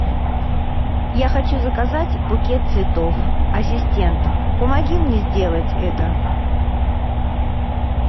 я хочу заказать букет цветов ассистент помоги мне сделать это